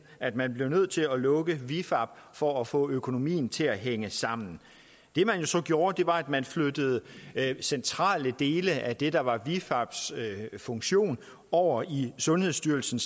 at man blev nødt til at lukke vifab for at få økonomien til at hænge sammen det man jo så gjorde var at man flyttede centrale dele af det der var vifabs funktion over i sundhedsstyrelsen